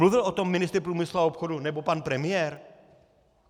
Mluvil o tom ministr průmyslu a obchodu nebo pan premiér?